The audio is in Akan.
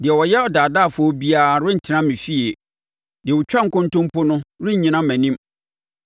Deɛ ɔyɛ ɔdaadaafoɔ biara rentena me fie; deɛ ɔtwa nkontompo no rennyina mʼanim.